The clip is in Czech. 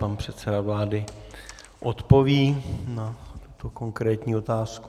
Pan předseda vlády odpoví na tuto konkrétní otázku.